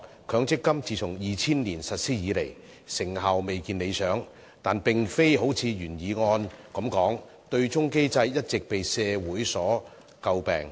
強積金計劃自從2000年實施以來，成效的確未如理想，但問題並非如原議案措辭所述，對沖機制一直為社會詬病。